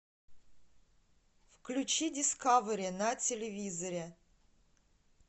включи дискавери на телевизоре